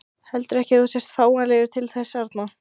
Heldurðu ekki að þú sért fáanlegur til þess arna?